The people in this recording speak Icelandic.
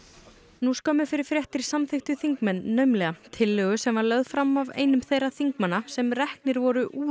nú skömmu fyrir fréttir samþykktu þingmenn naumlega tillögu sem var lögð fram af einum þeirra þingmanna sem reknir voru úr